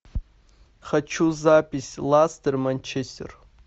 хочу запись ластер манчестер